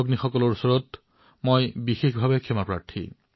তেওঁলোকৰ ওচৰতো মই ক্ষমাপ্ৰাৰ্থী